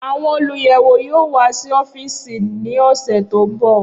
Awọn oluyẹwo yoo wa si ọfiisi ni ọsẹ to nbọ.